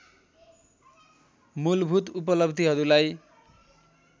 मूलभूत उपलब्धिहरूलाई